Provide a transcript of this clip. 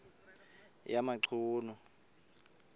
yamachunu